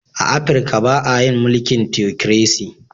A Afrika ba a yin mulkin " Theocracy".